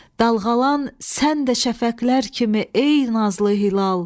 Dalğalan sən də şəfəqlər kimi ey nazlı hilal.